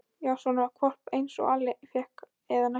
Já, svona hvolp einsog Alli fékk, eða næstum eins.